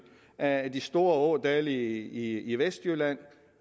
af de store ådale i vestjylland